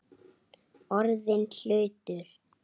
Orðinn hlutur.